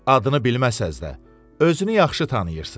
Adını bilməsəniz də, özünü yaxşı tanıyırsınız.